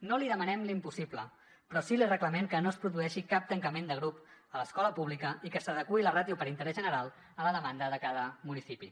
no li demanem l’impossible però sí que li reclamen que no es produeixi cap tancament de grup a l’escola pública i que s’adeqüi la ràtio per interès general a la demanda de cada municipi